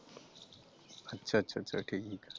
ਅੱਛਾ ਅੱਛਾ ਠੀਕਾ ।